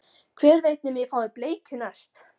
Hver veit nema ég fái bleikju næst